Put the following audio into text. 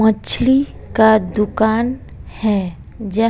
मछली का दुकान है ज--